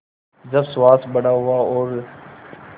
जब सुहास बड़ा हुआ और